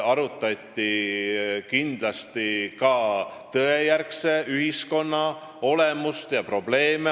Kindlasti arutati ka tõejärgse ühiskonna olemust ja probleeme.